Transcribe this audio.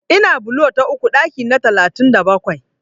Ina bulo ta uku ɗaki na talatin da bakwai.